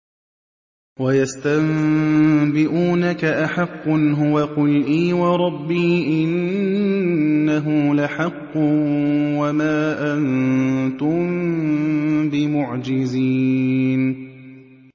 ۞ وَيَسْتَنبِئُونَكَ أَحَقٌّ هُوَ ۖ قُلْ إِي وَرَبِّي إِنَّهُ لَحَقٌّ ۖ وَمَا أَنتُم بِمُعْجِزِينَ